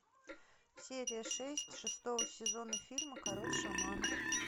серия шесть шестого сезона фильма король шаманов